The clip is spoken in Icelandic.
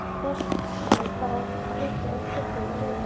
Þorsteinn: Bara að byggja úr kubbunum og leika okkur.